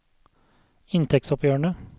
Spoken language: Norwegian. inntektsoppgjørene